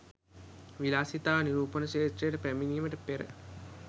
විලාසිතා නිරූපන ක්‍ෂේත්‍රයට පැමිණීමට පෙර